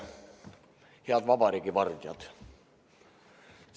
Head vabariigi vardjad!